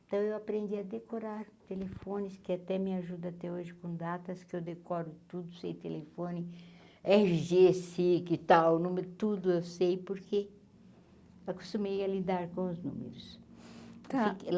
Então eu aprendi a decorar telefones, que até me ajuda até hoje com datas, que eu decoro tudo sei telefone, erre gê sic, e tal, número tudo eu sei, porque acostumei a lidar com os números. está